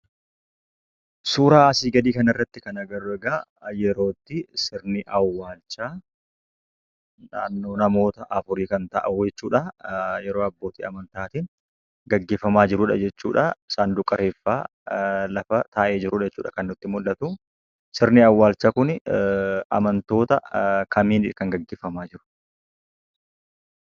Suura asii gadii kana irratti kan agarru egaa, yerootti sirni awwaalchaa naannoo namoota afurii kan ta'an wayii yeroo abbootii amantaatiin gaggeeffamaa jiru jechuudhaa, saanduqa reeffaa lafa taa'ee jirudha kan nutti mul'atuu. Sirni awwaalchaa Kuni amantoota kamiini kan gaggeeffamaa jiru?